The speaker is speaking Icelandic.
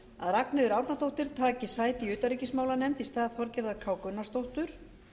ragnheiður árnadóttir taki sæti í utanríkismálanefnd í stað þorgerðar k gunnarsdóttur